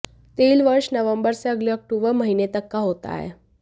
तेल वर्ष नवंबर से अगले अक्टूबर महीने तक का होता है